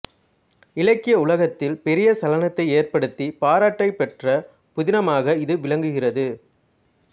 இலக்கிய உலகத்தில் பெரிய சலனத்தை ஏற்படுத்தி பாராட்டைப் பெற்ற புதினமாக இது விளங்குகிறது